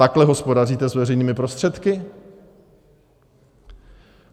Takhle hospodaříte s veřejnými prostředky?